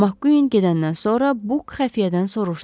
Makkuin gedəndən sonra Buk xəfiyyədən soruşdu.